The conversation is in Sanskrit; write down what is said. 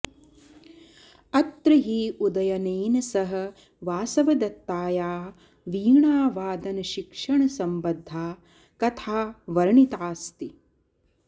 अत्र हि उदयनेन सह वासवदत्ताया वीणावादनशिक्षणसम्बद्धा कथा वर्णिताऽस्ति